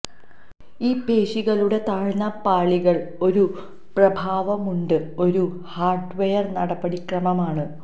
ഈ പേശികളുടെ താഴ്ന്ന പാളികൾ ഒരു പ്രഭാവവുമുണ്ട് ഒരു ഹാർഡ്വെയർ നടപടിക്രമം ആണ്